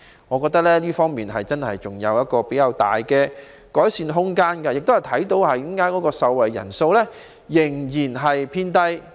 我覺得這方面真的有較大的改善空間，而這亦是受惠人數仍然偏低的原因。